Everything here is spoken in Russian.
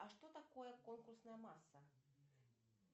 а что такое конкурсная масса